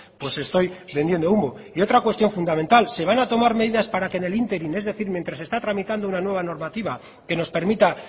pues estoy vendiendo humo y otra cuestión fundamental se van a tomar medidas para que en el ínterin es decir mientras se está tramitando una nueva normativa que nos permita